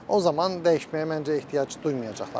O zaman dəyişməyə məncə ehtiyac duymayacaqlardır.